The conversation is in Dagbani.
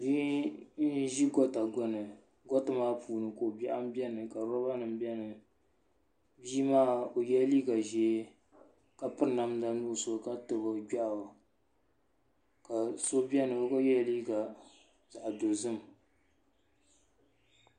Bihi n zi gɔta gbuni gɔta maa puuni ko bɛaɣu n bɛni rɔba nima bɛni bii maa o yela liiga zɛɛ ka piri namda nuɣiso ka tabi o gbiɛɣu ka so bɛni o gba yela liiga zaɣi dozim.